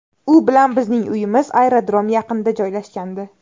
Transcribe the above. U bilan bizning uyimiz aerodrom yaqinida joylashgandi.